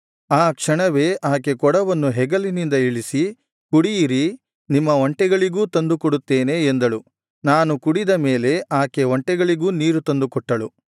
ಆ ಕ್ಷಣವೇ ಆಕೆ ಕೊಡವನ್ನು ಹೆಗಲಿನಿಂದ ಇಳಿಸಿ ಕುಡಿಯಿರಿ ನಿಮ್ಮ ಒಂಟೆಗಳಿಗೂ ತಂದು ಕೊಡುತ್ತೇನೆ ಎಂದಳು ನಾನು ಕುಡಿದ ಮೇಲೆ ಆಕೆ ಒಂಟೆಗಳಿಗೂ ನೀರು ತಂದುಕೊಟ್ಟಳು